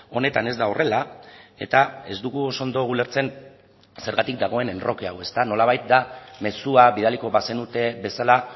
honetan ez da horrela eta ez dugu oso ondo ulertzen zergatik dagoen enroke hau ezta nolabait da mezua bidaliko bazenute bezala